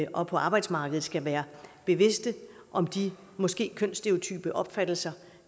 og på arbejdsmarkedet skal være bevidste om de måske kønsstereotype opfattelser